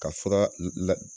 Ka fura la